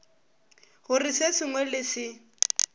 gore se sengwe le se